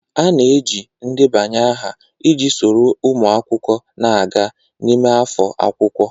A na-eji ndebanye aha iji soro ụmụ akwụkwọ na-aga n'ime afọ akwụkwọ.